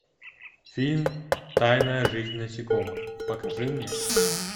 фильм тайная жизнь насекомых покажи мне